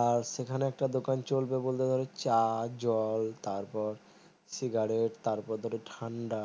আর সেখানে একটা দুকান চলবে বলতে গালে চা জল তারপর সিগারেট তারপরে ধর ঠান্ডা